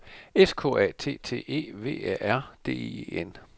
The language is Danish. S K A T T E V Æ R D I E N